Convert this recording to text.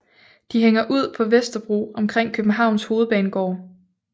De hænger ud på Vesterbro omkring Københavns Hovedbanegård